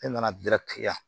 E nana ya